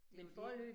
Det jo det